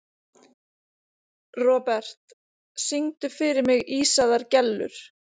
Robert, syngdu fyrir mig „Ísaðar Gellur“.